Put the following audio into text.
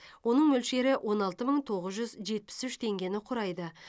оның мөлшері он алты мың тоғыз жүз жетпіс үш теңгені құрайды